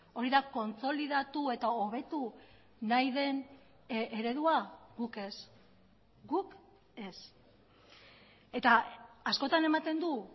hori da kontsolidatu eta hobetu nahi den eredua guk ez guk ez eta askotan ematen du